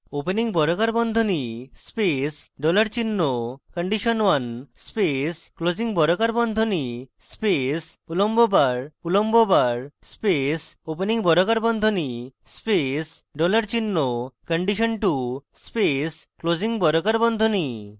opening বর্গাকার বন্ধনী space dollar চিহ্ন condition1 space closing বর্গাকার বন্ধনী space উলম্ব bar উলম্ব bar space opening বর্গাকার বন্ধনী space dollar চিহ্ন condition2 space closing বর্গাকার বন্ধনী